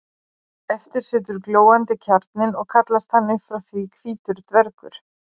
eftir situr glóandi kjarninn og kallast hann upp frá því hvítur dvergur